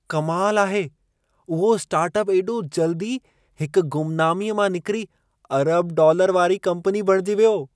कमाल आहे! उहो स्टार्टाअपु एॾो जल्दी हिक गुमनामीअ मां निकिरी अरब-डॉलर वारी कंपनी बणिजी वियो।